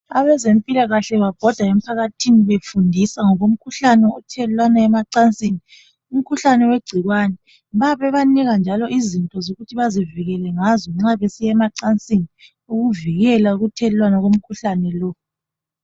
Abezempilakahle babhode emphakathini befundisa, ngomkhuhlane othelelwana emacansini igcikwane, bayabanika njalo izinto zokuthi bazivikele ngazo nxa besiya emacansini ukuvikela ukuthelelana komkhuhlane lowu.